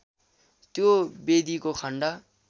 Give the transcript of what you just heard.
त्यो वेदीको खण्ड